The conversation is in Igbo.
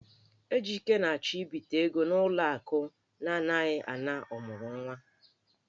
Ejike na-achọ ibite ego n'ụlọ akụ na-anaghị ana ọmụrụnwa.